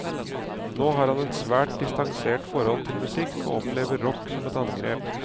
Nå har han et svært distansert forhold til musikk, og opplever rock som et angrep.